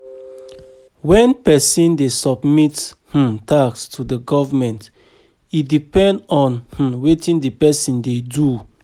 When person dey submit um tax to government e depend on um wetin di person dey do